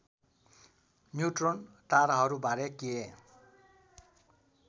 neutron ताराहरूबारे के